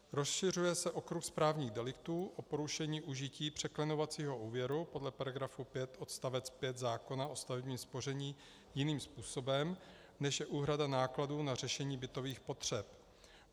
Rozšiřuje se okruh správních deliktů o porušení užití překlenovacího úvěru podle § 5 odst. 5 zákona o stavebním spoření jiným způsobem, než je úhrada nákladů na řešení bytových potřeb.